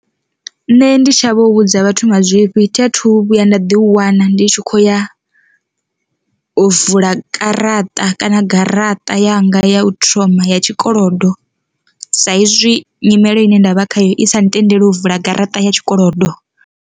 Nṋe ndi shavha u vhudza vhathu mazwifhi thi a thu vhuya nda ḓi wana ndi tshi khou ya u vula karaṱa kana garaṱa yanga ya u thoma ya tshikolodo, sa izwi nyimele ine ndavha khayo i sa tendeli u vula garaṱa ya tshikolodo.